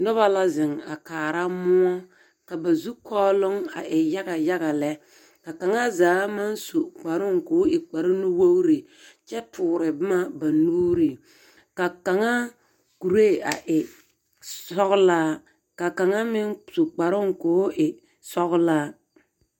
Noba la zeŋ a kaara moɔ. Ka ba zukɔɔloŋ e yaga yaga lɛ. Ka kaŋa zaa maŋ su kparooŋ ka o e kpare nuwogiri kyɛ toore boma ba nuuriŋ. Ka kaŋa kuree a e sɔgelaa. Ka kaŋa meŋ su kparooŋka o e sɔgelaa.